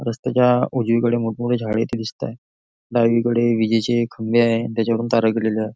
रस्त्याच्या उजवीकडे मोठं मोठी झाडे इथे दिसत आहे डावीकडे विजेचे खंबे आहे आणि त्याच्यावरून तारा गेलेल्या आहे.